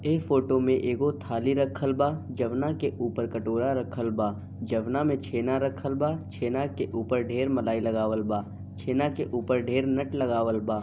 ये फोटो में एगो थाली रखल बा जौवना के ऊपर कटोरा रखल बा जौवना मे छेना रखल बा छेना के ऊपर ढेर लगावल बा छेना के ऊपर ढेर नट लगावल बा।